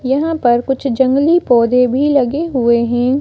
यहाँ पर कुछ जंगली पौधे भी लगे हुए हैं।